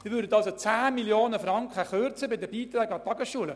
Sie würden also bei den Beiträgen an die Tagesschulen 10 Mio. Franken kürzen.